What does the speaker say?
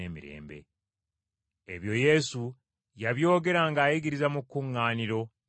Ebyo Yesu yabyogera ng’ayigiriza mu kkuŋŋaaniro e Kaperunawumu.